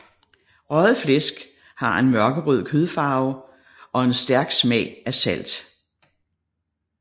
Røget flæsk har en mørkerød kødfarve og en stærk smag af salt